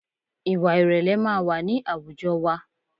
Ìwà ìrẹ̀lẹ̀ máa wà ní àwùjọ wa